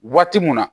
Waati mun na